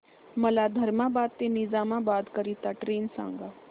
मला धर्माबाद ते निजामाबाद करीता ट्रेन सांगा